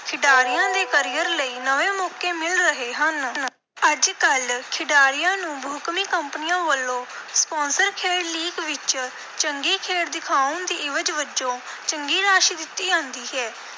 ਖਿਡਾਰੀਆਂ ਦੇ career ਲਈ ਨਵੇਂ ਮੌਕੇ ਮਿਲ ਰਹੇ ਹਨ। ਅੱਜ-ਕੱਲ੍ਹ ਖਿਡਾਰੀਆਂ ਨੂੰ ਬਹੁਕੌਮੀ ਕੰਪਨੀਆਂ ਵੱਲੋਂ sponsor ਖੇਡ league ਵਿਚ ਚੰਗੀ ਖੇਡ ਦਿਖਾਉਣ ਦੀ ਇਵਜ਼ ਵਜੋਂ ਚੰਗੀ ਰਾਸ਼ੀ ਦਿੱਤੀ ਜਾਂਦੀ ਹੈ,